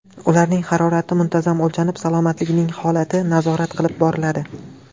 Ularning harorati muntazam o‘lchanib, salomatligining holati nazorat qilib boriladi.